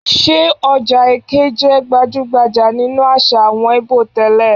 Ṣé ọjà Eké jẹ́ gbajú-gbajà nínú àṣà àwọn Íbò tẹ́lẹ̀?